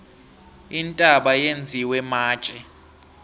intaba yenziwe matje